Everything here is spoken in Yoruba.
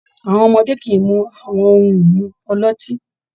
Àwọn ọmọdé kì í mu àwọn ohun-ìmu ọlọ́tí.